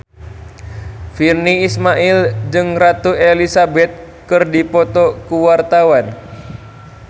Virnie Ismail jeung Ratu Elizabeth keur dipoto ku wartawan